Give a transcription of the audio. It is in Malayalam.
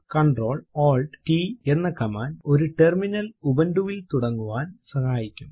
Ctrl Alt t എന്ന കമാൻഡ് ഒരു ടെർമിനൽ ഉബുന്റു വിൽ തുടങ്ങാൻ സഹായിക്കും